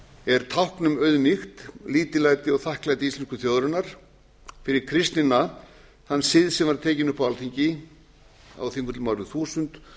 er tákn um auðmýkt lítillæti og þakklæti íslensku þjóðarinnar fyrir kristnina þann sið sem var tekinn upp á alþingi á þingvöllum árið þúsund